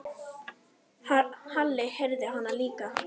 Halli heyrði hana líka.